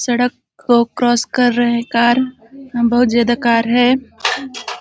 सड़क को क्रॉस कर रहे है कार बहुत ज्यादा कार हैं।